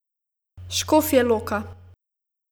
Škofja loka.